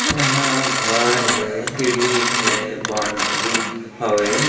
यहाँ घर है सीढ़ी है बॉउन्ड्री हवे--